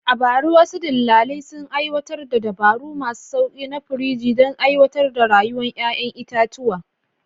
A bara, wasu dillalai sun aiwatar da dabaru masu sauƙi na firiji don tsawaita rayuwar ƴaƴan itatuwa.